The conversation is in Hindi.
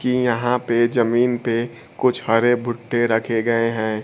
कि यहां पे जमीन पे कुछ हरे भुट्टे रखे गए हैं।